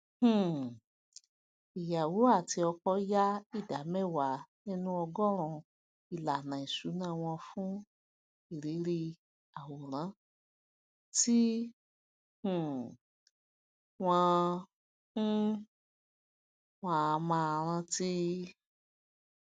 um ìyàwó àti ọkọ yà ìdá mẹwàá nínú ọgọọrún ìlànà isuná wọn fún irírí àwòrán tí um wọn um wọn á máa rántí